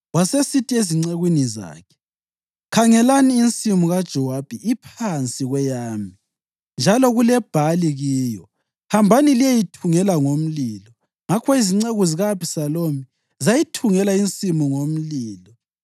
Wasesithi ezincekwini zakhe, “Khangelani, insimu kaJowabi iphansi kweyami, njalo kulebhali kiyo. Hambani liyeyithungela ngomlilo.” Ngakho izinceku zika-Abhisalomu zayithungela insimu ngomlilo.